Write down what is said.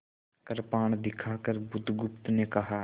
कृपाण दिखाकर बुधगुप्त ने कहा